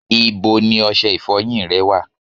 Ibo ni ọṣẹ ìfọyín rẹ wà?